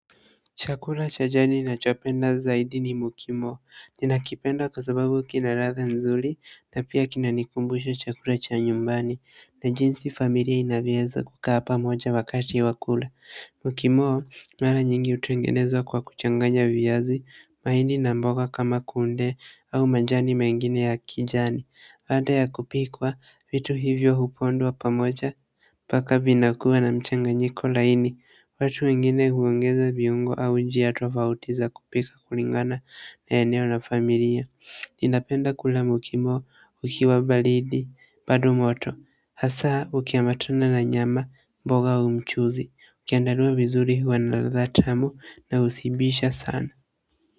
Chakula cha jadi nachopenda zaidi ni mukimo ninakipenda kwa sababu kina ladha nzuri na pia kinanikumbusha chakula cha nyumbani na jinsi familia inavyoweza kukaa pamoja wakati wa kula Mukimo, mara nyingi hutengenezwa kwa kuchanganya viazi, mahindi na mboga kama kunde au majani mengine ya kijani baada ya kupikwa vitu hivyo hupondwa pamoja, npaka vinakuwa na mchanganyiko laini watu wengine huongeza viungo au njia tofauti za kupika kulingana na eneo na familia ninapenda kula mukimo ukiwa baridi bado moto hasa ukiambatana na nyama mboga au mchuuzi, ukiandaliwa vizuri huw na ladha tamu na ushibisha sana.